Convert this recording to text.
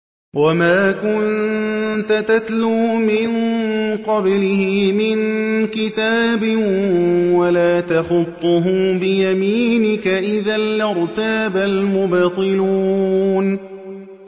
وَمَا كُنتَ تَتْلُو مِن قَبْلِهِ مِن كِتَابٍ وَلَا تَخُطُّهُ بِيَمِينِكَ ۖ إِذًا لَّارْتَابَ الْمُبْطِلُونَ